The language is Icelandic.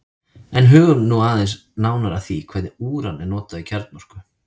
en hugum nú aðeins nánar að því hvernig úran er notað í kjarnorku